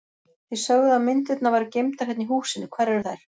Þið sögðuð að myndirnar væru geymdar hérna í húsinu, hvar eru þær?